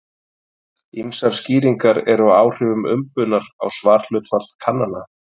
Ýmsar skýringar eru á áhrifum umbunar á svarhlutfall kannana.